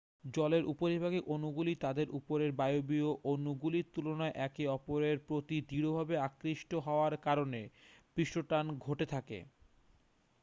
জলের উপরিভাগের অণুগুলি তাদের উপরের বায়বীয় অণুগুলির তুলনায় একে অপরের প্রতি দৃঢ়ভাবে আকৃষ্ট হওয়ার কারণে পৃষ্ঠটান ঘটে থাকে